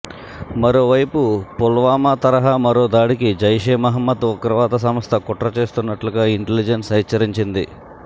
మరోవైపు పుల్వామా తరహా మరో దాడికి జైషే మహ్మద్ ఉగ్రవాద సంస్థ కుట్ర చేస్తున్నట్టుగా ఇంటలిజెన్స్ హెచ్చరించింది